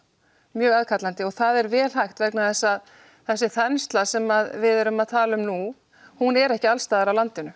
mjög aðkallandi og það er vel hægt vegna þess að þessi þensla sem við erum að tala um nú er ekki alls staðar á landinu